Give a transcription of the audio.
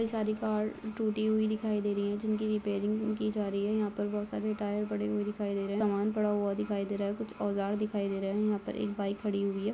ये सारी कार टूटी हुई दिखाई दे रही है जिनकी रेपेरिंग की जा रही है यहाँ पे बहुत सारी टायर पड़े हुए दिखाई दे रहे हैं सामान पड़ा हुई दिखाई दे रहा है कुछ ओजार दिखाई दे रहा है यहां पर एक बाईक खड़ी हुई है।